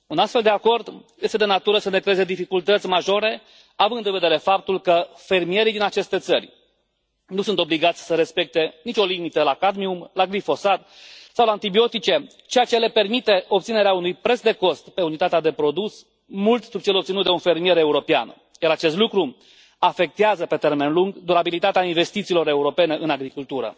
Un astfel de acord este de natură să ne creeze dificultăți majore, având în vedere faptul că fermierii din aceste țări nu sunt obligați să respecte nicio limită la cadmium, la glifosat sau la antibiotice, ceea ce le permite obținerea unui preț de cost pe unitatea de produs mult sub cel obținut de un fermier european, iar acest lucru afectează pe termen lung durabilitatea investițiilor europene în agricultură.